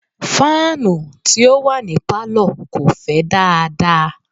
fáànù tí ó wà ní Pálọ̀ kò fẹ́ dáadáa.